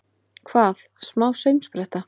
Hvað, smá saumspretta!